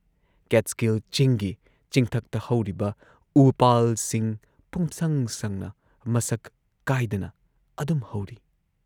Catskill ꯆꯤꯡꯒꯤ ꯆꯤꯡꯊꯛꯇ ꯍꯧꯔꯤꯕ ꯎꯄꯥꯜꯁꯤꯡ ꯄꯨꯝꯁꯪ ꯁꯪꯅ ꯃꯁꯛ ꯀꯥꯏꯗꯅ ꯑꯗꯨꯝ ꯍꯧꯔꯤ ꯫